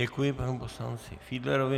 Děkuji panu poslanci Fiedlerovi.